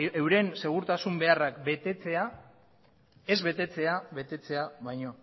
euren segurtasun beharrak ez betetzea betetzea baino